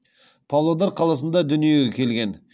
павлодар қаласында дүниеге келген